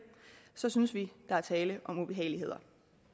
så synes vi der er tale om ubehageligheder